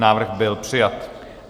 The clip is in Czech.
Návrh byl přijat.